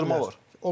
Bəzən isə deyirəm.